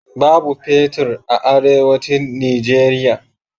Babu fetir a Arewacin Nijeriya.